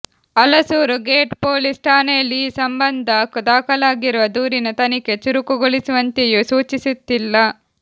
Alasuru gate police ಠಾಣೆಯಲ್ಲಿ ಈ ಸಂಬಂಧ ದಾಖಲಾಗಿರುವ ದೂರಿನ ತನಿಖೆ ಚುರುಕುಗೊಳಿಸುವಂತೆಯೂ ಸೂಚಿಸುತ್ತಿಲ್ಲ